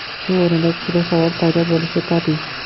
Shu o‘rinda kishida savol paydo bo‘lishi tabiiy.